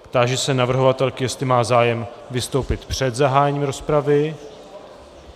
Táži se navrhovatelky, jestli má zájem vystoupit před zahájením rozpravy.